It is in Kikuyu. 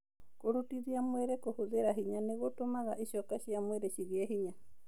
Kũrutithia mwĩrĩ kũhũthĩra hinya nĩ gũtũmaga icoka cia mwĩrĩ cigĩe hinya